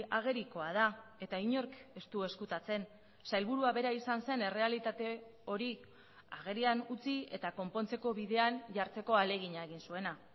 agerikoa da eta inork ez du ezkutatzen sailburua bera izan zen errealitate hori agerian utzi eta konpontzeko bidean jartzeko ahalegina egin zuena